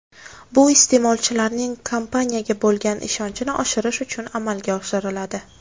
Bu iste’molchilarning kompaniyaga bo‘lgan ishonchini oshirish uchun amalga oshiriladi.